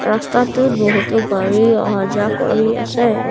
ৰাস্তাটোত বহুতো গাড়ী অহা যোৱা কৰি আছে।